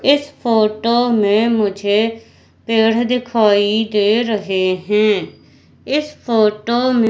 इस फोटो में मुझे पेड़ दिखाई दे रहे हैं इस फोटो में --